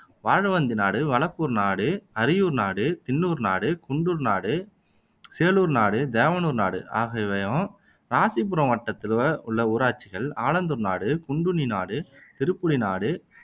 வாழவந்தி நாடு, வளப்பூர் நாடு, அரியூர் நாடு, தின்னூர் நாடு, குண்டூர் நாடு, சேளூர் நாடு, தேவனூர் நாடு ஆகியவையும் இராசிபுரம் வட்டத்தில உள்ள ஊராட்சிகள் ஆலந்தூர் நாடு, குண்டுனி நாடு, திருப்புலி நாடு